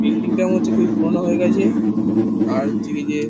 Building -টা মনে হচ্ছে খুবই পুরোনো হয়ে গেছে। আর হচ্ছে কি যে --